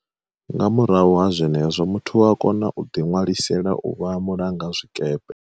Nga murahu ha zwenezwo, muthu u a kona u ḓi ṅwalisela u vha mulangazwikepe.